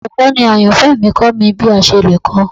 Olukọni ayanfẹ mi kọ mi bi a ṣe le kọ